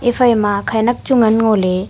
efai ma khenak chu ngan ngo ley.